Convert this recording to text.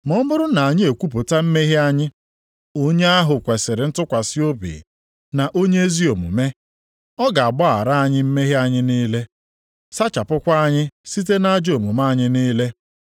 Ma ọ bụrụ na anyị ekwupụta mmehie anyị, onye ahụ kwesiri ntụkwasị obi na onye ezi omume, ọ ga-agbaghara anyị mmehie anyị niile, sachapụkwa anyị site nʼajọ omume anyị niile.